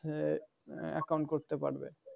আহ account করতে পারবে।